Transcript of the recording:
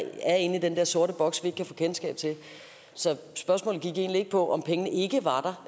er inde i den der sorte boks vi kan få kendskab til så spørgsmålet gik egentlig ikke på om pengene ikke var